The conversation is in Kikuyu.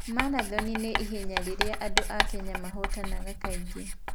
Marathoni nĩ ihenya rĩrĩa andũ a Kenya mahotanaga kaingĩ.